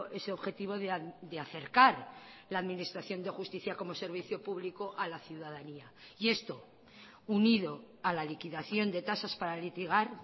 ese objetivo de acercar la administración de justicia como servicio público a la ciudadanía y esto unido a la liquidación de tasas para litigar